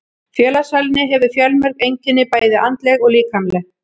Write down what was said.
Félagsfælni hefur fjölmörg einkenni, bæði andleg og líkamleg.